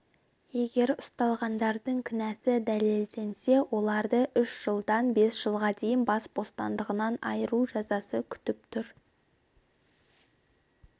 егер ұсталғандардың кінәсі дәлелденсе оларды үш жылдан бес жылға дейін бас бостандығынан айыру жазасы күтіп тұр